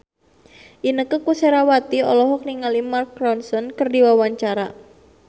Inneke Koesherawati olohok ningali Mark Ronson keur diwawancara